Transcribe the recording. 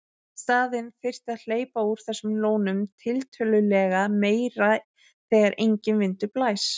Í staðinn þyrfti að hleypa úr þessum lónum tiltölulega meira þegar enginn vindur blæs.